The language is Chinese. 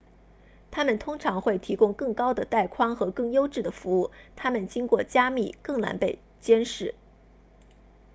它们通常会提供更高的带宽和更优质的服务它们经过加密更难被监视